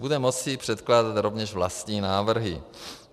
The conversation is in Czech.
Bude moci předkládat rovněž vlastní návrhy.